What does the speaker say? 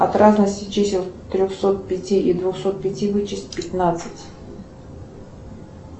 от разности чисел трехсот пяти и двухсот пяти вычесть пятнадцать